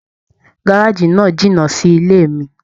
Gárájí náà jìnnà sí ilé mí.